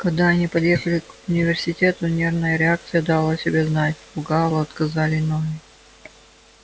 когда они подъехали к университету нервная реакция дала о себе знать у гаала отказали ноги